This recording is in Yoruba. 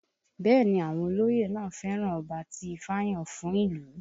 Bẹ́ẹ̀ ni àwọn olóyè náà fẹ́ràn ọba tí ifá yàn fún ìlú